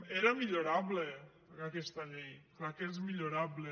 era millorable aquesta llei clar que és millorable